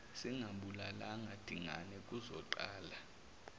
singambulalanga dingane kuzoqala